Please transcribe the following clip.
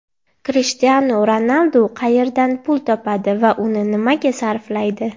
Krishtianu Ronaldu qayerdan pul topadi va uni nimaga sarflaydi?